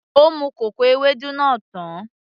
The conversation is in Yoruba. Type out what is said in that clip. Ó mu kòkò Ewédú náà tán